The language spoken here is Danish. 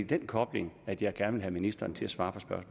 den kobling at jeg gerne vil have ministeren til at svare